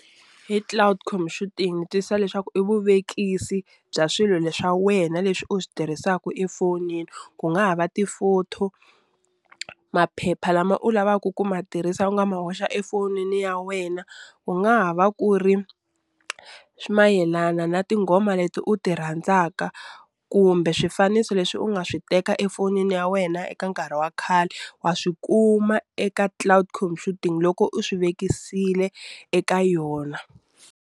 Hi cloud computing ni twisisa leswaku i vuvekisi bya swilo leswa wena leswi u swi tirhisaka efonini ku nga ha va ti-photo, maphepha lama u lavaku ku ma tirhisa u nga ma hoxa efonini ya wena u nga ha va ku ri swi mayelana na tinghoma leti u ti rhandzaka kumbe swifaniso leswi u nga swi teka efonini ya wena eka nkarhi wa khale wa swi kuma eka cloud computing loko u swi vekisile eka yona.